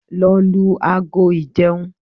Lọ lu ago ìjẹun!